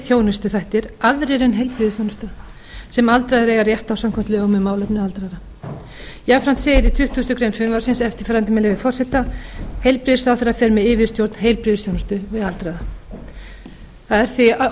þjónustuþættir aðrir en heilbrigðisþjónusta sem aldraðir eiga rétt á samkvæmt lögum um málefni aldraðra jafnframt segir í tuttugustu greinar frumvarpsins eftirfarandi með leyfi forseta heilbrigðisráðherra fer með yfirstjórn heilbrigðisþjónustu við aldraða það er því óumdeilt